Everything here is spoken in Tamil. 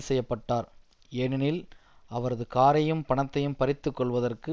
செய்ய பட்டார் ஏனெனில் அவரது காரையும் பணத்தையும் பறித்துக்கொள்வதற்கு